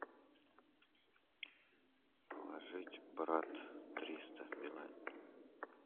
положить брат триста билайн